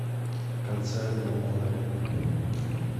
в конце альбома лэйла